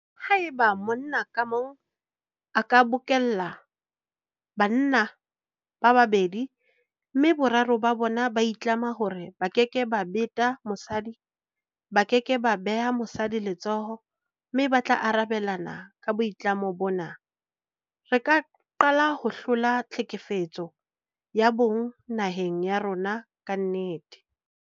Haeba monna ka mong a ka bokella banna ba babedi mme boraro ba bona ba itlama hore ba keke ba beta mosadi, ba ke ke ba beha mosadi letsoho mme ba tla arabelana ka boitlamo bona, re ka qalaho hlola tlhekefetso ya bong naheng ya rona ka nnete.